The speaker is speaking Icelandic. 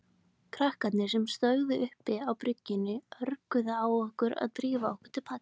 Krakkarnir sem stóðu uppi á bryggjunni örguðu á okkur að drífa okkur til baka.